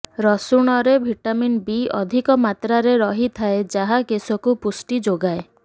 ରସୁଣରେ vitamin B ଅଧିକ ମାତ୍ରାରେ ରହିଥାଏ ଯାହା କେଶକୁ ପୁଷ୍ଟି ଯୋଗାଏ